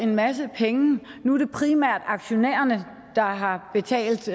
en masse penge nu er det primært aktionærerne der har betalt